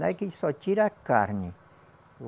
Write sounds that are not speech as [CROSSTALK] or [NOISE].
[UNINTELLIGIBLE] que ele só tira a carne.